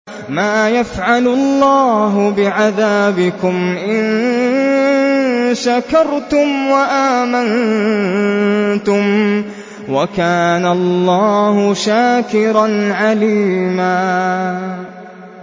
مَّا يَفْعَلُ اللَّهُ بِعَذَابِكُمْ إِن شَكَرْتُمْ وَآمَنتُمْ ۚ وَكَانَ اللَّهُ شَاكِرًا عَلِيمًا